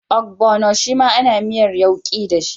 Ogbono shima ana miyar yauki dashi